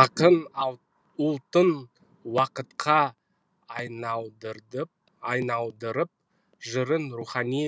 ақын ұлтын уақытқа айналдырып жырын рухани